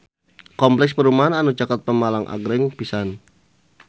Kompleks perumahan anu caket Pemalang agreng pisan